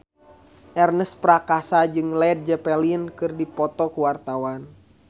Ernest Prakasa jeung Led Zeppelin keur dipoto ku wartawan